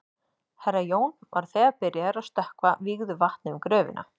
Herra Jón var þegar byrjaður að stökkva vígðu vatni um gröfina.